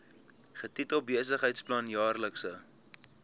getitel besigheidsplan jaarlikse